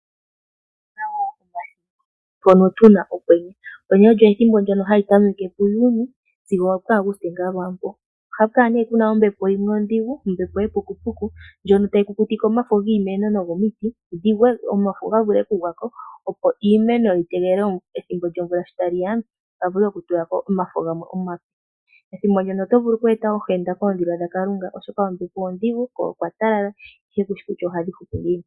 Mpono tuna okwenye , okwenye olyo ethimbo ndyono ha li tameke pu Juni sigo opu Aguste ngaa lwaampo oha ku kala nee kuna ombepo yimwe ondhigu , ombepo yepukupuku ndjono tayi kukutike omafo giimeno nogomiti dhigwe omafo gavule okugwako opo iimeno yitegelele ethimbo lyomvula shi taliya gavule okutulako omafo gamwe omape. Ethimbo ndyono oto vulu okweeta ohenda koondhila dhakalunga , oshoka ombepo ondhigu ko okwa talala ihe kushi kutya ohadhi hupu ngiini.